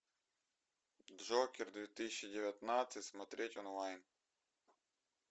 джокер две тысячи девятнадцать смотреть онлайн